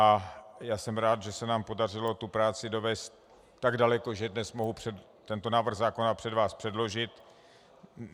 A já jsem rád, že se nám podařilo tu práci dovést tak daleko, že dnes mohu tento návrh zákona před vás předložit.